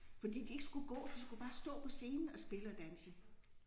Fordi de ikke skulle gå de skulle bare stå på scenen og spille og danse